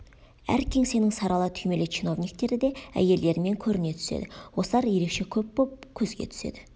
әр кеңсенің сары ала түймелі чиновниктері де әйелдерімен көріне түседі осылар ерекше көп боп көзге түседі